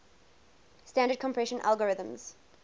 standard compression algorithms